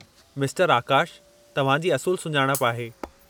मिस्टरु आकाशु तव्हां जी असुलु सुञाणप आहे।